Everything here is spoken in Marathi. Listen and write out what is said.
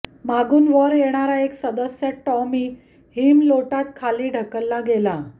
मागून वर येणारा एक सदस्य टॉमी हिमलोटात खाली ढकलला गेला